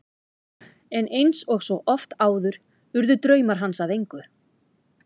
En eins og svo oft áður urðu draumar hans að engu.